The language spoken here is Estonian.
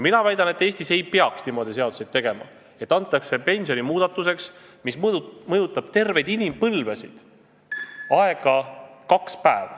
Mina väidan, et Eestis ei tohiks niimoodi seadusi teha, et antakse selliste pensionisüsteemi muudatuste aruteluks, mis mõjutavad terveid inimpõlvesid, aega kaks päeva.